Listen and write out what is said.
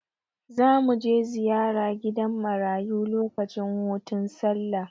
Za mu je ziyara gidan marayu lokacin hutun Sallah.